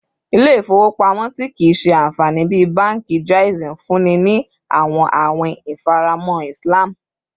Ile-ifowopamọ ti kii ṣe anfani bi banki Jaiz nfunni ni awọn awin ifaramọ Islam